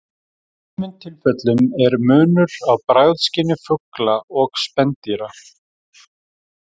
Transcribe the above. Í sumum tilfellum er munur á bragðskyni fugla og spendýra.